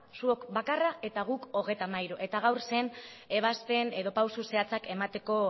zuok bakarra eta guk hogeita hamairu eta gaur zen ebazpen edo pausu zehatzak emateko